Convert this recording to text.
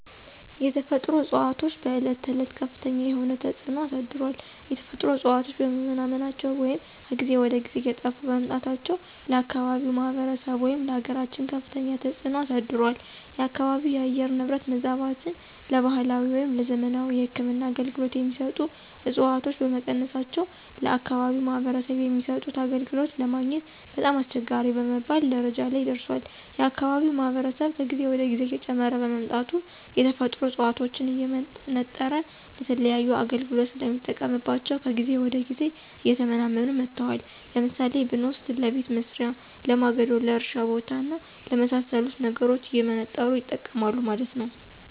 የተፈጥሮ እፅዋቶች በዕለት ተዕለት ከፍተኛ የሆነ ተፅዕኖ አሳድሯል። የተፈጥሮ እፅዋቶች በመመናመናቸው ወይም ከጊዜ ወደ ጊዜ እየጠፉ በመምጣታቸው ለአካባቢው ማህበረሰብ ወይም ለአገራችን ከፍተኛ ተፅዕኖ አሳድሯል። የአካባቢው የአየር ንብረት መዛባትን ለባህላዊ ወይም ለዘመናዊ የህክምና አገልገሎት የሚሰጡ ዕፅዋቶች በመቀነሳቸው ለአከባቢው ማህበረሰብ የሚሰጡት አገልግሎት ለማግኘት በጣም አስቸጋሪ በመባል ደረጃ ላይ ደርሷል። የአካባቢው ማህበረሰብ ከጊዜ ወደ ጊዜ እየጨመረ በመምጣቱ የተፈጥሮ ዕፅዋቶችን እየመነጠረ ለተለያዩ አገልግሎት ስለሚጠቀምባቸው ከጊዜ ወደ ጊዜ እየተመናመኑ መጥተዋል። ለምሳሌ ብንወስድ ለቤት መሥሪያ፣ ለማገዶ፣ ለእርሻ ቦታ እና ለመሣሰሉት ነገሮች እየመነጠሩ ይጠቀማሉ ማለት ነው።